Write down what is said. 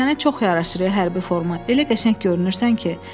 Sənə çox yaraşır ey hərbi forma, elə qəşəng görünürsən ki.